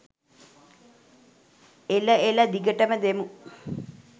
එල එල! දිගටම දෙමු